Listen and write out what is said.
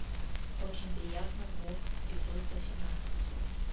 очень приятно бог эпизод восемнадцать